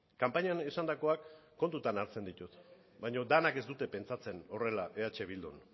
kanpainan esandakoak kontutan hartzen ditut baina denek ez dute pentsatzen horrela eh bildun